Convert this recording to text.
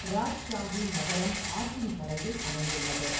ராஜ்ஷாஹி நகரம் ஆற்றின் கரையில் அமைந்துள்ளது.